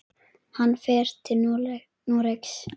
Hann fer til Noregs.